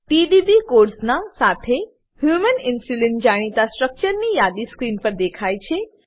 PDB કોડસના સાથે human insulin જાણીતા સ્ટ્રક્ચરની યાદી સ્ક્રીન પર દેખાય છે